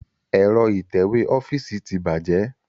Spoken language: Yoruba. Ẹ̀rọ itẹ̀wẹ́ ọ́fíìsì tí bàjẹ́